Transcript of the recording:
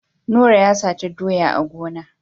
Nura ya sata doyan a gona.